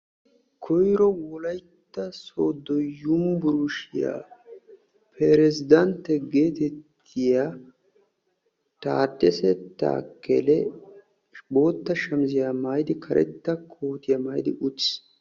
Koyro wolaytta sooddo yunburushiyaa peresidantte geetettiyaa taadesse taakkele bootta shamisiyaa karetta kootiyaa maayidi uttiis.